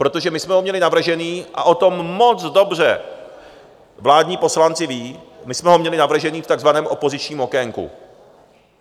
Protože my jsme ho měli navržený a o tom moc dobře vládní poslanci vědí, my jsme ho měli navržený v takzvaném opozičním okénku.